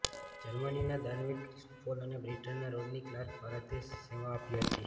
જર્મનીના દાનવીર ક્રિસ્ટોફેલ અને બ્રિટનના રોડની કલાર્કે ભારતમાં સેવા આપી હતી